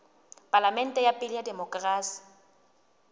palamente ya pele ya demokerasi